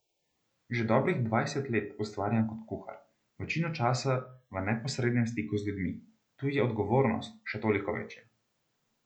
Že dobrih dvanajst let ustvarjam kot kuhar, večino časa v neposrednem stiku z ljudmi, tu je odgovornost še toliko večja.